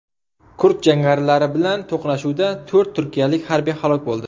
Kurd jangarilari bilan to‘qnashuvda to‘rt turkiyalik harbiy halok bo‘ldi.